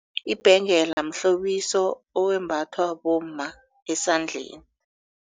Ibhengela mhlobiso owembathwa bomma esandleni.